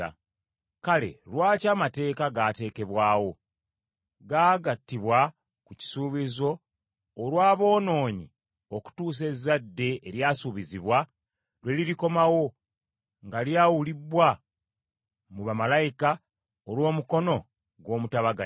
Kale lwaki amateeka gaateekebwawo? Gaagattibwa ku kisuubizo olw’aboonoonyi okutuusa ezzadde eryasuubizibwa lwe lirikomawo, nga lyawulibbwa mu bamalayika olw’omukono gw’omutabaganya.